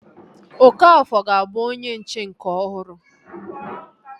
Okafor ga-abụ onye nche nke ọhụrụ